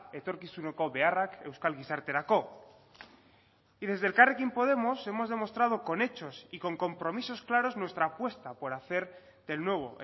etorkizuneko beharrak euskal gizarterako y desde elkarrekin podemos hemos demostrado con hechos y con compromisos claros nuestra apuesta por hacer del nuevo